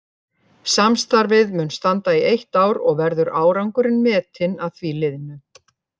Samstarfið mun standa í eitt ár og verður árangurinn metinn að því liðnu.